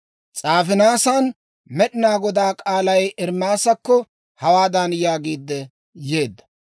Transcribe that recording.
S'aafinaasan Med'inaa Godaa k'aalay Ermaasakko hawaadan yaagiidde yeedda;